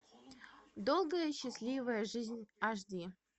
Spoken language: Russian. долгая счастливая жизнь аш ди